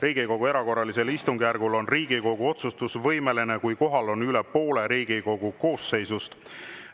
Riigikogu erakorralisel istungjärgul on Riigikogu otsustusvõimeline, kui kohal on üle poole Riigikogu koosseisust.